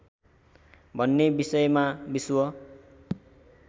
भन्ने विषयमा विश्व